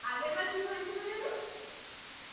আগেরবার কি হয়েছিল যেন